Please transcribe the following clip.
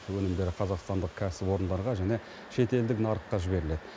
өнімдер қазақстандық кәсіпорындарға және шетелдік нарыққа жіберіледі